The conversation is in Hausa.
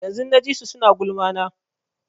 Yanzun na ji su suna gulma na